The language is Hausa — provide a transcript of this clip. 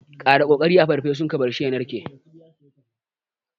Ƙara kori a farfesun ka barshi ya narke.